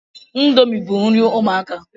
Ndomi bu nri ụmụaka